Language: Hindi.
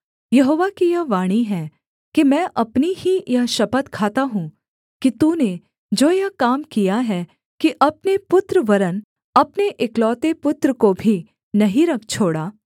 यहोवा की यह वाणी है कि मैं अपनी ही यह शपथ खाता हूँ कि तूने जो यह काम किया है कि अपने पुत्र वरन् अपने एकलौते पुत्र को भी नहीं रख छोड़ा